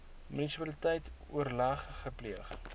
munisipaliteit oorleg gepleeg